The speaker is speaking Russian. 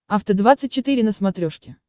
афта двадцать четыре на смотрешке